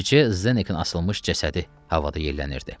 Bircə Zeneikin asılmış cəsədi havada yellənirdi.